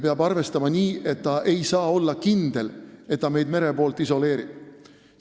Peab arvestama nii, et ta ei saa olla kindel, et ta meid mere poolt isoleerib.